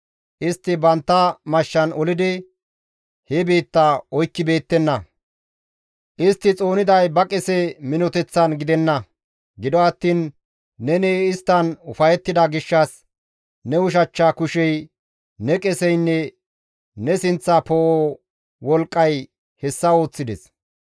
Istti bantta mashshan olidi he biitta oykkibeettenna; istti xooniday ba qese minoteththan gidenna. Gido attiin neni isttan ufayettida gishshas ne ushachcha kushey, ne qeseynne ne sinththa poo7o wolqqay hessa ooththides.